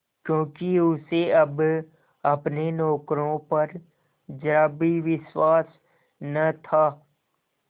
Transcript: क्योंकि उसे अब अपने नौकरों पर जरा भी विश्वास न था